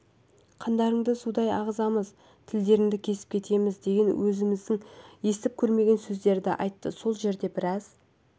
қандарыңды судай ағызамыз тілдеріңді кесіп кетеміз деген өмірімізде естіп көрмеген сөздерді айтты сол жерде біраз